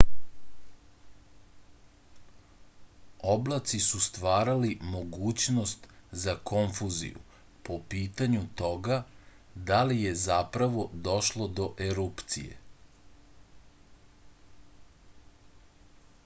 oblaci su stvarali mogućnost za konfuziju po pitanju toga da li je zapravo došlo do erupcije